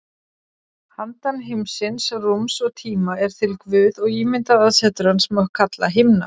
Handan heimsins, rúms og tíma, er til Guð og ímyndað aðsetur hans má kalla himna.